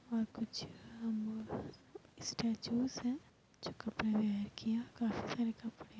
और कुछ ह्म्म्मम्म स्टेचूस हैं जो किया काफी सारे कपड़े --